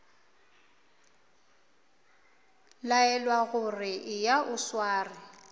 laelwa gore eya o sware